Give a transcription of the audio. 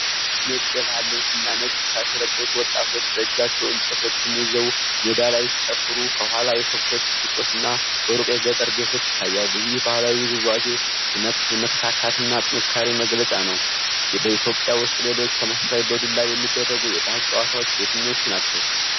ነጭ የባህል ልብስና ነጭ ሻሽ የለበሱ ወጣቶች በእጃቸው እንጨቶችን ይዘው ሜዳ ላይ ሲጨፍሩ። ከኋላ የከብቶች ግጦሽና በሩቅ የገጠር ቤቶች ይታያሉ። ይህ ባህላዊ ውዝዋዜ የመተካካትና የጥንካሬ መግለጫ ነው። በኢትዮጵያ ውስጥ ሌሎች ተመሳሳይ በዱላ የሚደረጉ የባህል ጨዋታዎች የትኞቹ ናቸው?